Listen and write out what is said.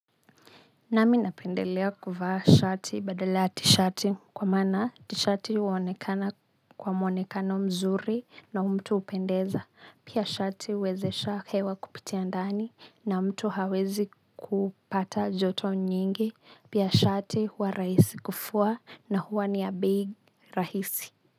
Nami napendelea kuvaa shati badala ya t-shati kwa maana t-shati huonekana kwa muonekano mzuri na mtu hupendeza. Pia shati huwezesha hewa kupitia ndani na mtu hawezi kupata joto nyingi. Pia shati huwa rahisi kufua na huwa ni ya bei rahisi.